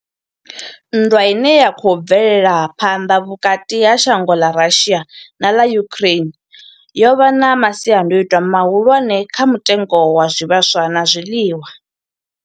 Nndwa ine ya khou bvela phanḓa vhukati ha shango ḽa Russia na ḽa Ukraine yo vha na masiandaitwa mahulwane kha mutengo wa zwivhaswa na zwiḽiwa.